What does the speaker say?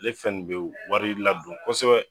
Ale fɛn nin be wari ladon kosɛbɛ.